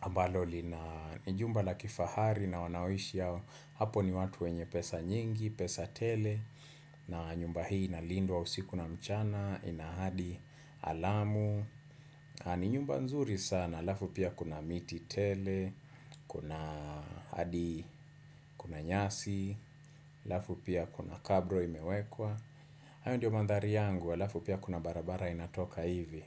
ambalo li na ni jumba la kifahari na wanaoishi ao hapo ni watu wenye pesa nyingi, pesa tele na nyumba hii na lindwa usiku na mchana inahadi alamu. Ni nyumba nzuri sana, alafu pia kuna miti tele, kuna hadi, kuna nyasi, alafu pia kuna kabro imewekwa. Hayo ndio mandhari yangu, alafu pia kuna barabara inatoka hivi.